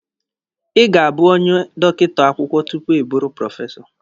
Ị ga-abụ onye dọkịta akwụkwọ tupu ịbụrụ prọfesọ.